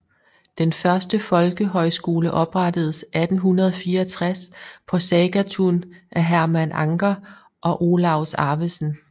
Den første folkehøjskole oprettedes 1864 på Sagatun af Herman Anker og Olaus Arvesen